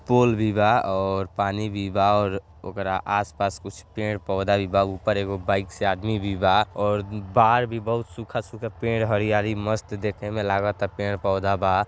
पोल भी बा और पानी भी बा और ओकरा आस-पास कुछ पेड़-पौधा भी बा। ऊपर एगो बाइक से आदमी भी बा और बाहर भी सूखा-सूखा पेड़ हरियाली मस्त देखे में लागता। पेड़-पौधा बा।